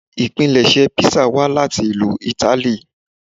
Ipinlẹṣẹ písà wá láti ìlú Ítálì